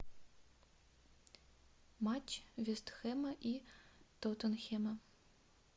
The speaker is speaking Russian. матч вест хэма и тоттенхэма